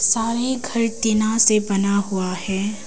सारे घर टीना से बना हुआ है।